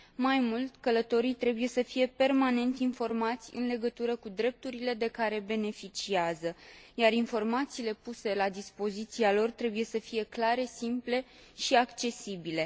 Mai mult, călătorii trebuie să fie permanent informați în legătură cu drepturile de care beneficiază, iar informațiile puse la dispoziția lor trebuie să fie clare, simple și accesibile.